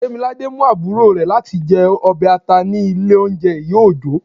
demilade mú aburo rẹ latí jẹ ọbẹ ata ni ilé oúnjẹ iya ojo